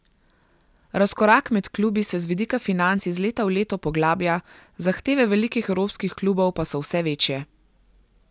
Razkorak med klubi se z vidika financ iz leta v leto poglablja, zahteve velikih evropskih klubov pa so vse večje.